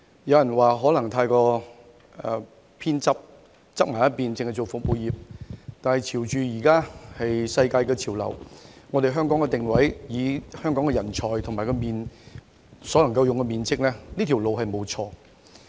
有人認為此情況未免過於側重服務業，但以現時的世界潮流、香港的定位和人才，以及我們所能使用的面積，這條路並沒有錯。